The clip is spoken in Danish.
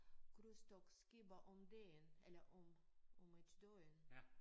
Krydstogtskibe om dagen eller om om et døgn